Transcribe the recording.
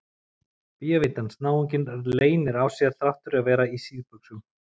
Bévítans náunginn leynir á sér þrátt fyrir að vera í síðbuxum!